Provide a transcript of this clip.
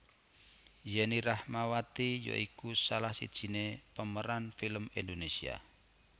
Yenny Rahmawati ya iku salah sijiné pemeran film Indonésia